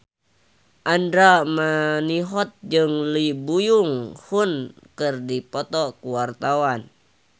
Andra Manihot jeung Lee Byung Hun keur dipoto ku wartawan